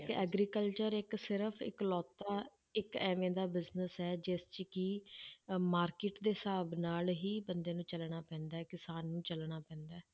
ਕਿ agriculture ਇੱਕ ਸਿਰਫ਼ ਇੱਕ ਲੌਤਾ ਇੱਕ ਇਵੇਂ ਦਾ business ਹੈ ਜਿਸ 'ਚ ਕਿ ਅਹ market ਦੇ ਹਿਸਾਬ ਨਾਲ ਹੀ ਬੰਦੇ ਨੂੰ ਚੱਲਣਾ ਪੈਂਦਾ ਹੈ ਕਿਸਾਨ ਨੂੰ ਚੱਲਣਾ ਪੈਂਦਾ ਹੈ।